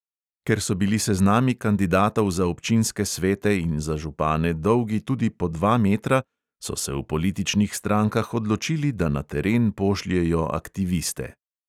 Ker so bili seznami kandidatov za občinske svete in za župane dolgi tudi po dva metra, so se v političnih strankah odločili, da na teren pošljejo aktiviste.